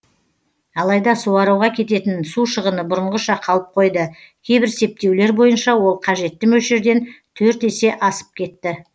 алайда суаруға кететін су шығыны бұрынғыша қалып қойды кейбір септеулер бойынша ол қажетті мөлшерден төрт есе асып кетті